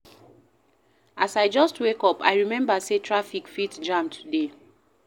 As I just wake up, I remember sey traffic fit jam today.